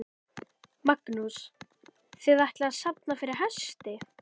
Magnús: Þið ætlið að safna fyrir hesti?